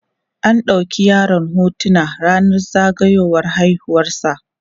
an ɗauki yaron hotuna rannan zagayiwar haihuwar sa